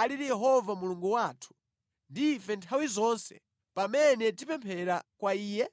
alili Yehova Mulungu wathu ndi ife nthawi zonse pamene tipemphera kwa Iye?